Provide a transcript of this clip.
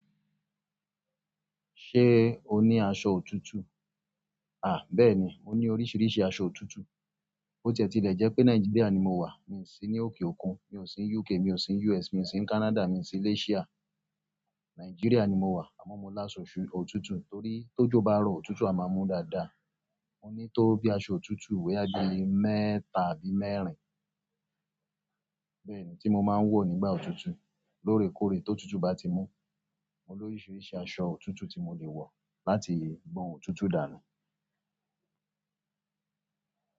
Ṣé o ní aṣọ òtútù? À, bẹ́ẹ̀ni, mo ní oríṣiríṣi aṣọ òtútù. Bo tiẹ́ tílẹ̀ jẹ́ pé Nàìjíríà ni mo wà, mi ò sí ní òkè òkun, mi ò sí ní UK, mi ò sí ní US, mi ò sí ní Canada, mi ò sí ní Asia. Nigeria ni mo wa, amo mo laso òtútù, torí tojo baro, òtútù a maa mu dáadáa. Mo ní tó bí i aṣọ òtútù boya bíi mẹ́ta àbí mẹ́rin bẹ́ẹ̀ ni tí mo máa ń wọ nígbà òtútù. Lóòrèkóòrè ti òtútù bá ti mú, mo ní oríṣiríṣi aṣọ òtútù tí mo le wọ láti gbon òtútù dànù.